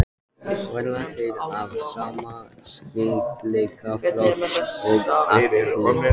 Verða þeir af sama styrkleikaflokki og Atli?